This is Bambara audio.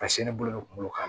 Ka sin ne bolo bɛ kunkolo kan